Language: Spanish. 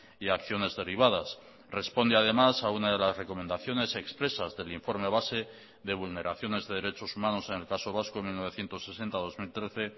y acciones derivadas responde además a una de las recomendaciones expresas del informe base de vulneraciones de derechos humanos en el caso vasco mil novecientos sesenta dos mil trece